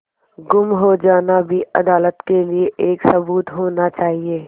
गुम हो जाना भी अदालत के लिये एक सबूत होना चाहिए